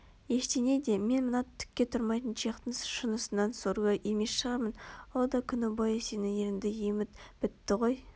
ештеңе де мен мына түкке тұрмайтын чехтың шынысынан сорлы емес шығармын ол да күні бойы сенің ерніңді еміп бітті ғой